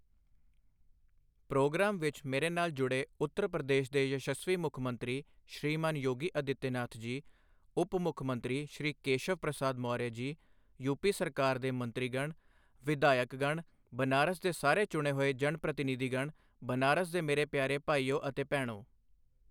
Programme ਵਿੱਚ ਮੇਰੇ ਨਾਲ ਜੁੜੇ ਉੱਤਰ ਪ੍ਰਦੇਸ਼ ਦੇ ਯਸ਼ਸਵੀ ਮੁੱਖ ਮੰਤਰੀ ਸ਼੍ਰੀਮਾਨ ਯੋਗੀ ਆਦਿੱਤਿਆਨਾਥ ਜੀ, ਉਪ ਮੁੱਖ ਮੰਤਰੀ ਸ਼੍ਰੀ ਕੇਸ਼ਵ ਪ੍ਰਸਾਦ ਮੌਰਯ ਜੀ, ਯੂਪੀ ਸਰਕਾਰ ਦੇ ਮੰਤਰੀਗਣ, ਵਿਧਾਇਕਗਣ, ਬਨਾਰਸ ਦੇ ਸਾਰੇ ਚੁਣੇ ਹੋਏ ਜਨਪ੍ਰਤੀਨਿਧੀਗਣ, ਬਨਾਰਸ ਦੇ ਮੇਰੇ ਪਿਆਰੇ ਭਾਈਓ ਅਤੇ ਭੈਣੋਂ!